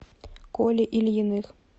коле ильиных